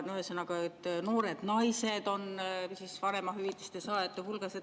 Ühesõnaga, noored naised on vanemahüvitise saajate hulgas.